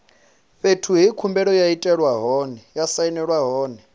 fhethu he khumbelo ya sainelwa hone